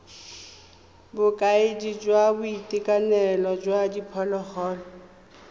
bokaedi jwa boitekanelo jwa diphologolo